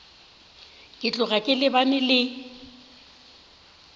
ke tloga ke lebane le